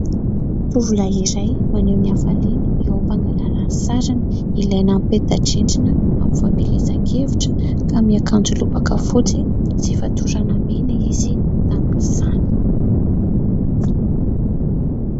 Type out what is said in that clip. Tovolahy iray, maneho ny hafaliany eo am-pangalana ny sariny. Ilaina amin'ny peta-drindrina amin'ny fampielezan-kevitra ; ka miakanjo lobaka fotsy sy fatorana mena izy amin'izany.